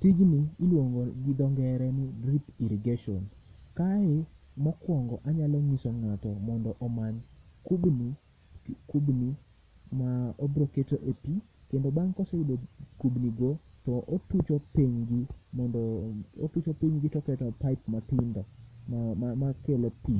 Tijni iluongo gi dho ngere ni drip irrigation. Kae mokwongo anyalo ng'iso ng'ato mondo omany kubni, kubni ma obroketo e pi. Kendo bang' koseyudo kubni go, to otucho pinygi mondo, otucho pinygi toketo paip matindo makelo pi,